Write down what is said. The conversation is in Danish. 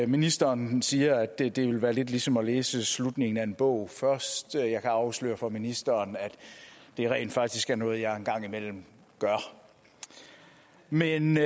ministeren siger at det ville være lidt ligesom at læse slutningen af en bog først jeg kan afsløre for ministeren at det rent faktisk er noget jeg en gang imellem gør men